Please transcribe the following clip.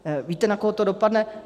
Víte, na koho to dopadne?